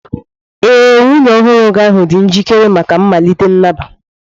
Ee, nwunye ọhụrụ ahụ dị njikere maka mmalite nnabata.